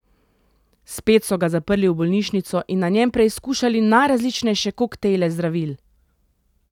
Spet so ga zaprli v bolnišnico in na njem preizkušali najrazličnejše koktejle zdravil.